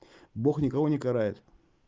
бог никого не карает